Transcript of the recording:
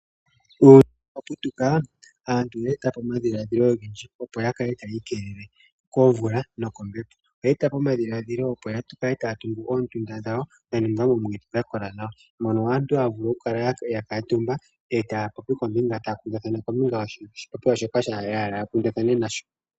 Uuyuni shi wa putuka, aantu oya eta po omadhiladhilo ogendji, opo ya kale taya ikelele komvula nokombepo. Oye eta po omadhiladhilo, opo ya kale taya tungu oondunda dhawo dha ningwa moomwiidhi dha kola nawa moka aantu haya vulu okukala ya kuutumba e taya kundathana kombinga yoshipopiwa shoka ya hala ya kundathane.